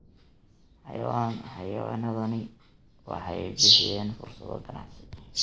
Xayawaanadani waxay bixiyaan fursado ganacsi.